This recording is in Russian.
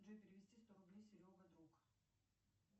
джой перевести сто рублей серега друг